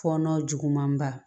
Fɔɔnɔ juguman ba